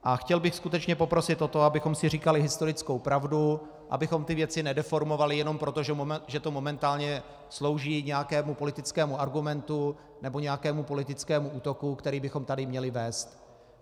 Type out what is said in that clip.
A chtěl bych skutečně poprosit o to, abychom si říkali historickou pravdu, abychom ty věci nedeformovali jenom proto, že to momentálně slouží nějakému politickému argumentu nebo nějakému politickému útoku, který bychom tady měli vést.